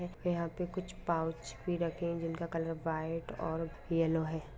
यहा पे कुछ पाउच भी रखे है जिनकी कॉलर वाइट और येलो है।